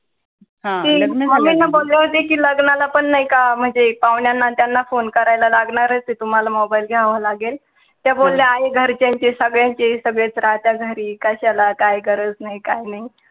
कि mummy ला बोलले होते कि लग्नाला पण नाही का म्हणजे पाहुण्यांना त्यांना phone करायला लागणारच ए तुम्हाला mobile घ्यावा लागेल, त्या बोलल्या आहे घरच्यांचे सगळ्यांचे, सगळेच राहता घरी कशाला काही गरज नाही काही नाही